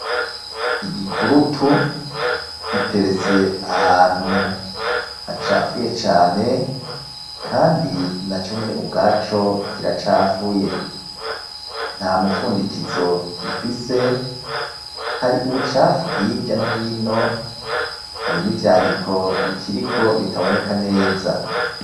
Igikurutu giteretse ahantu hacafuye cane ,kandi naco nyene ubwaco kiracafuye nta mufundikizo gifise ,hari ubucafu hirya no hino ,hari n'ivyandiko bikiriko bitaboneka neza.